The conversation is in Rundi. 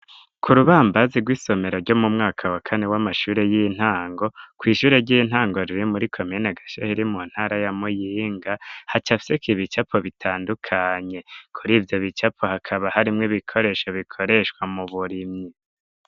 Ku rubambazi rw'isomero rwo mu mwaka wa kane w'amashure yintango, kw'ishure ry'intango riri muri komine Gashehe riri mu ntara ya Muyinga, hacafyeko ibicapo bitandukanye. Kuri ivyo bicapo hakaba harimwo ibikoresho bikoreshwa mu burimyi.